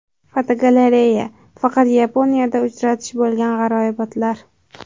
Fotogalereya: Faqat Yaponiyada uchratish bo‘lgan g‘aroyibotlar.